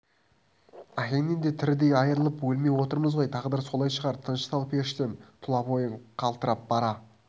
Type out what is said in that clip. әкеңнен де тірідей айырылып өлмей отырмыз ғой тағдыр солай шығар тыныштал періштем тұла бойың қалтырап бара